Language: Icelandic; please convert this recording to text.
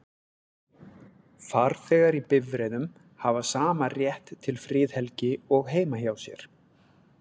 Farþegar í bifreiðum hafa sama rétt til friðhelgi og heima hjá sér.